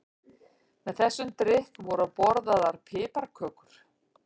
Með þessum drykk voru borðaðar piparkökur.